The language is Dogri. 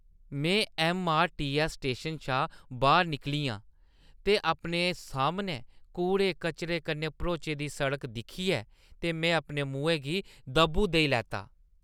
में ऐम्मआरटीऐस्स स्टेशन शा बाह्‌र निकली आं ते अपने सामनै कूड़े-कचरे कन्नै भरोची दी सड़क दिक्खियै ते मैं अपने मुहैं गी दब्बू देई लैता।